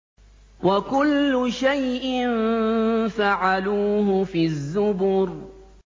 وَكُلُّ شَيْءٍ فَعَلُوهُ فِي الزُّبُرِ